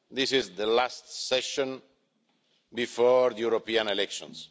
This is the last session before the European Elections.